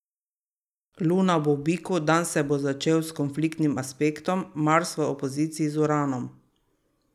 Luna bo v biku, dan se bo začel s konfliktnim aspektom, Mars v opoziciji z Uranom.